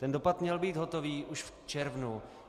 Ten dopad měl být hotový už v červnu.